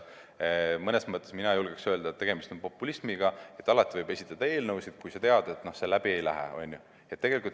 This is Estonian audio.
Mõnes mõttes julgeksin öelda, et tegemist on populismiga, alati võib esitada eelnõu, kui sa tead, et see läbi ei lähe.